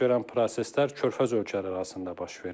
Baş verən proseslər Körfəz ölkələri arasında baş verir.